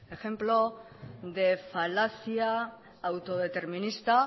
ejemplo de falacia autodeterminista